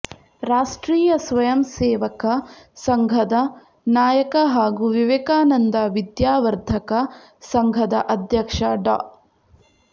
ರಾಷ್ಟ್ರೀಯ ಸ್ವಯಂಸೇವಕ ಸಂಘದ ನಾಯಕ ಹಾಗೂ ವಿವೇಕಾನಂದ ವಿದ್ಯಾವರ್ಧಕ ಸಂಘದ ಅಧ್ಯಕ್ಷ ಡಾ